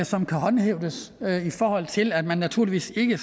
som kan håndhæves i forhold til at man naturligvis ikke